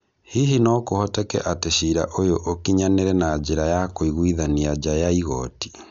Hihi no kũhoteke atĩ cira ũyũ ũkinyanĩre na njĩra ya kũiguithania nja ya igoti